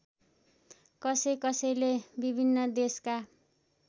कसैकसैले विभिन्न देशका